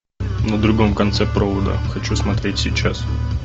на другом конце провода хочу смотреть сейчас